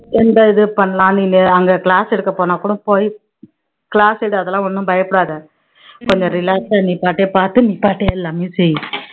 எந்த இது பண்ணலாம் நீனு அங்க class எடுக்க போனாக்கூட போய் class எடு அதெல்லாம் ஒண்ணும் பயப்படாத கொஞ்சம் relax ஆ நீ பாட்டுக்கு நீ பாட்டு எல்லாமே செய்